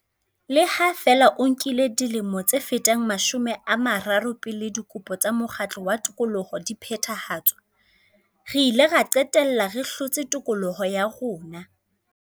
Le ha feela ho nkile dilemo tse fetang mashome a mararo pele dikopo tsa mokgatlo wa tokoloho di phethahatswa, re ile ra qetella re hlotse tokoloho ya rona.